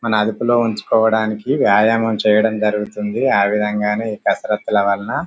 మన అదుపులో ఉంచుకోవడానికి వ్యాయామమం చేయడం జరుగుతుంది ఆ విధముగానే ఈ కీసరత్తులూ వాళ్ల.